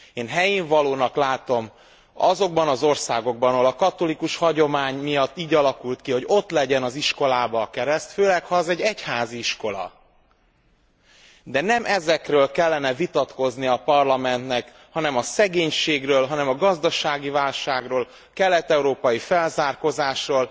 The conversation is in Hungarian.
Én helyénvalónak látom azokban az országokban, ahol a katolikus hagyomány miatt így alakult ki, hogy ott legyen az iskolában a kereszt, főleg ha az egy egyházi iskola, de nem ezekről kellene vitatkoznia a Parlamentnek, hanem a szegénységről, hanem a gazdasági válságról, kelet európai felzárkózásról.